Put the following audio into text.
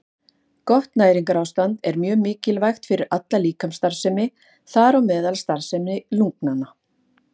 Gott næringarástand er mjög mikilvægt fyrir alla líkamsstarfsemi, þar á meðal starfsemi lungnanna.